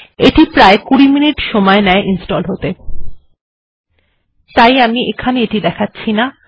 এটি প্রায় ২০ মিনিট সময় নেয় ইনস্টল হতে তাই আমি এখানে দেখাচ্ছি না